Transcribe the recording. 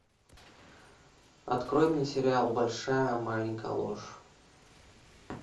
открой мне сериал большая маленькая ложь